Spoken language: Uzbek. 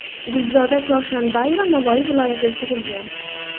Gulzoda Chorshanbayeva Navoiy viloyatida tug‘ilgan.